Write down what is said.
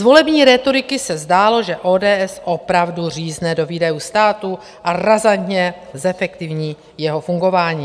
Z volební rétoriky se zdálo, že ODS opravdu řízne do výdajů státu a razantně zefektivní jeho fungování.